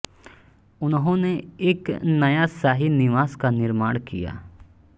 उन्होने एक नया शाही निवास का निर्माण किया